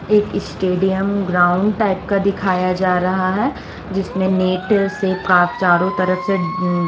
एक stadium ground type का दिखाया जा रहा है जिसमें नेट से प का चारों तरफ़ से मम --